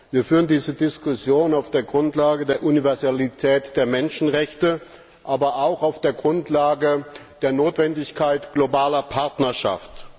Wir führen diese Diskussion auf der Grundlage der Universalität der Menschenrechte, aber auch auf der Grundlage der Notwendigkeit globaler Partnerschaft.